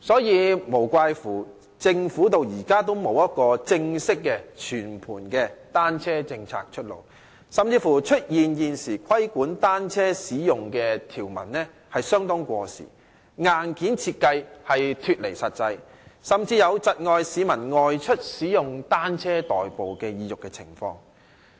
難怪政府至今仍未推出正式和全盤的單車政策，出現規管單車使用條文過時，硬件設計脫離實際，甚至是窒礙市民外出使用單車代步的意欲的情況。